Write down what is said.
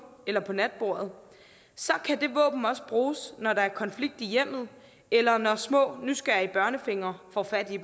eller på natbordet kan det våben også bruges når der er konflikt i hjemmet eller når små nysgerrige børnefingre får fat i